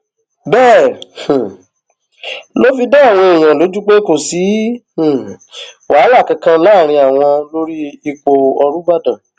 bẹẹ um ló fi dá àwọn èèyàn lójú pé kò sí um wàhálà kankan láàrin àwọn lórí ipò ọrúbàdàn